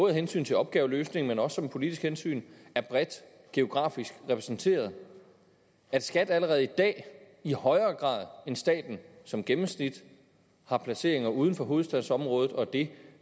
af hensyn til opgaveløsningen og som politisk hensyn er bredt geografisk repræsenteret at skat allerede i dag i højere grad end staten som gennemsnit har placeringer uden for hovedstadsområdet og at det